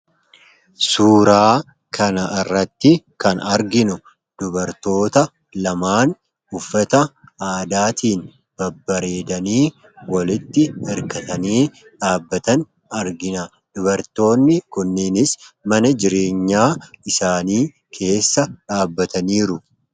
Suuraa kana irratti kan arginu dubartoota lamaan uffata aadaatiin babbareedanii walitti irkatanii dhaabbatan argina. Dubartoonni kunniinis mana jireenyaa isaanii keessa dhaabbataniiru.